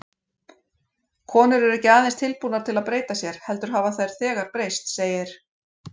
Konur eru ekki aðeins tilbúnar til að breyta sér, heldur hafa þær þegar breyst, segir